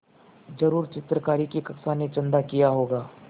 ज़रूर चित्रकारी की कक्षा ने चंदा किया होगा